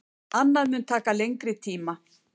Annað mun taka lengri tíma.